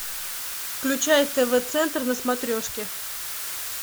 включай тв центр на смотрешке